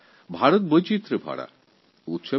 ভারত এক বৈচিত্র্যপূর্ণ দেশ